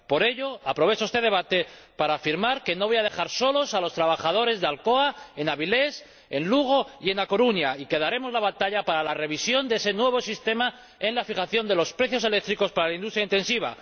Por ello, aprovecho este debate para afirmar que no voy a dejar solos a los trabajadores de Alcoa, en Avilés, en Lugo y en A Coruña, y que daremos la batalla para la revisión de ese nuevo sistema de fijación de los precios eléctricos para la industria intensiva.